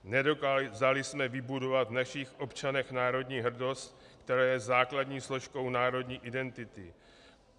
Nedokázali jsme vybudovat v našich občanech národní hrdost, která je základní složkou národní identity.